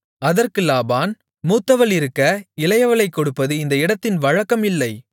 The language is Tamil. அதற்கு லாபான் மூத்தவள் இருக்க இளையவளைக் கொடுப்பது இந்த இடத்தின் வழக்கம் இல்லை